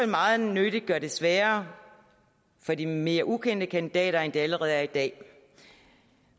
meget nødig gøre det sværere for de mere ukendte kandidater end det allerede er i dag